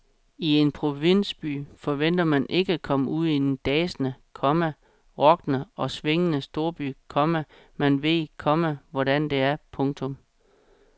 I en provinsby forventer man ikke at komme ud i en dansende, komma rockende og swingende storby, komma man ved, komma hvordan det er. punktum